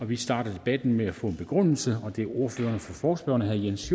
vi starter debatten med at få en begrundelse og det er ordføreren for forespørgerne herre jens